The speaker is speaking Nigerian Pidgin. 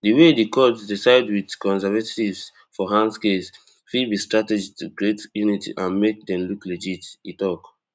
di way di court dey side wit conservatives for han case fit be strategy to create unity and make dem look legit e tok